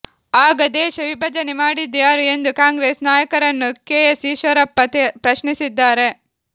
ಆಗ ದೇಶ ವಿಭಜನೆ ಮಾಡಿದ್ದು ಯಾರು ಎಂದು ಕಾಂಗ್ರೆಸ್ ನಾಯಕರನ್ನು ಕೆ ಎಸ್ ಈಶ್ವರಪ್ಪ ಪ್ರಶ್ನಿಸಿದ್ದಾರೆ